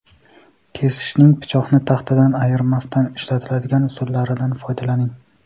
Kesishning pichoqni taxtadan ayirmasdan ishlatiladigan usullaridan foydalaning.